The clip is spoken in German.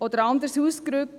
Oder anderes ausgedrückt: